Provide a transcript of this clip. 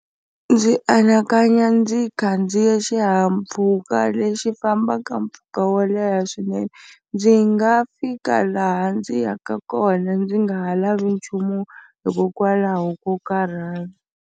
Ndzi anakanya ndzi khandziye xihahampfhuka lexi fambaka mpfhuka wo leha swinene ndzi nga fika laha ndzi yaka kona ndzi nga ha lavi nchumu hikokwalaho ko karhala.